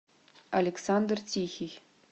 александр тихий